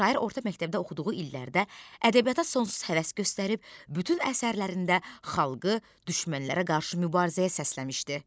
Şair orta məktəbdə oxuduğu illərdə ədəbiyyata sonsuz həvəs göstərib, bütün əsərlərində xalqı düşmənlərə qarşı mübarizəyə səsləmişdi.